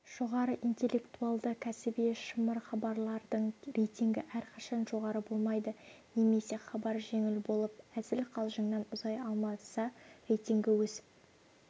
жоғары интеллектуалды кәсіби шымыр хабарлардың рейтингі әрқашан жоғары болмайды немесе хабар жеңіл болып әзіл-қалжыңнан ұзай алмаса рейтингі өсіп